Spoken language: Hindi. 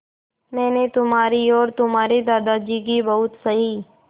मैंने तुम्हारी और तुम्हारे दादाजी की बहुत सही